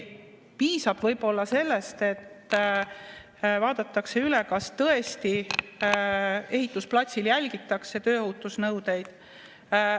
Piisab võib-olla sellest, et vaadatakse üle, kas tõesti ehitusplatsil järgitakse tööohutusnõudeid.